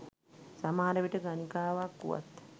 සමහර විට ගණිකාවක් වුවත්